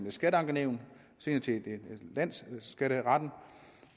et skatteankenævn og senere til landsskatteretten